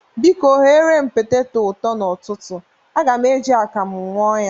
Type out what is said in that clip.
Biko, ghere m peteto ụtọ n'ụtụtụ. Aga m e ji akamụ ñụ ya.